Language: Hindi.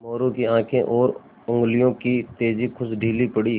मोरू की आँखें और उंगलियों की तेज़ी कुछ ढीली पड़ी